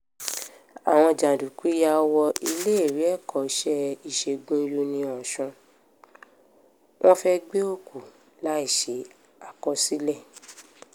àwọn jàǹdùkú yà wọ iléèwé ẹ̀kọ́ṣẹ́ ìṣègùn uniosun wọn fẹ́ẹ́ gbé òkú láì ṣe àkọsílẹ̀